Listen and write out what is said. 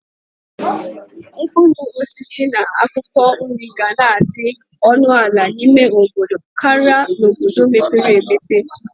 Mkpuruosisi na akwokwo nri gana adi onu ala n'ime obodo Kari n"obodo mepere emepe.